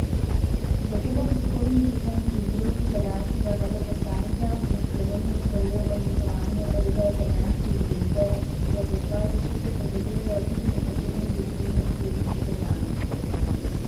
Zato bo prihodnji teden iz rok italijanskega veleposlanika v Sloveniji prejel odlikovanje reda italijanske zvezde, ki ga za svoje zasluge podeljujejo tudi nekaterim zaslužnim tujim državljanom.